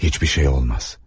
Heç bir şey olmaz.